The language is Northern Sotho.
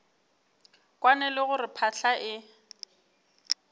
kwane le gore phahla e